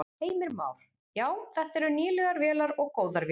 Heimir Már: Já, þetta eru nýlegar vélar og góðar vélar?